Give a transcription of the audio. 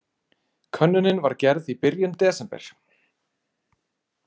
Könnunin var gerð í byrjun desember